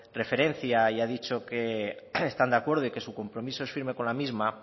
referencia y ha dicho que están de acuerdo y que su compromiso es firme con la misma